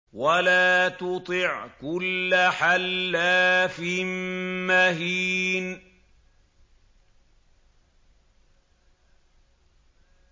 وَلَا تُطِعْ كُلَّ حَلَّافٍ مَّهِينٍ